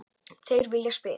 Þeir vilja spila.